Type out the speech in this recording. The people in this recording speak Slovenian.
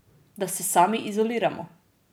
Da se sami izoliramo?